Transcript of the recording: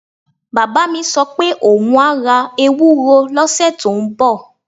Bàbá mi sọ pé òun á ra ewuro lọ́sẹ̀ tó ń bọ̀